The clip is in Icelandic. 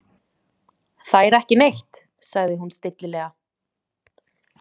Þær ekki neitt, sagði hún stillilega.